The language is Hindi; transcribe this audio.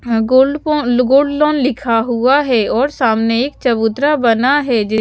यहां गोल्ड फोन गोल्ड लोन लिखा हुआ है और सामने एक चबूतरा बना है जिस--